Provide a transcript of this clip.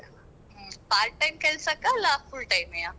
ಹ್ಮ್ part time ಕೆಲ್ಸಕ್ಕ ಅಲ್ಲ full time ಎಯಾ?